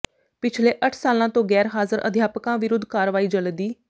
ਪਿਛਲੇ ਅੱਠ ਸਾਲਾਂ ਤੋਂ ਗੈਰ ਹਾਜ਼ਰ ਅਧਿਆਪਕਾਂ ਵਿਰੁਧ ਕਾਰਵਾਈ ਜਲਦੀ